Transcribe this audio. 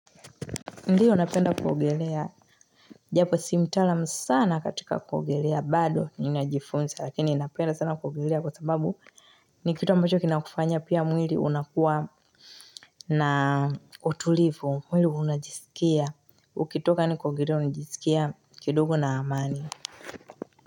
Ndiyo napenda kuogelea, japo si mtaalam sana katika kuogelea bado ninajifunza lakini napenda sana kuogelea kwa sababu ni kitu ambacho kinakufanya pia mwili unakuwa na utulivu, mwili unajiskia, ukitoka ni kuogelea unajiskia kidogo na amani.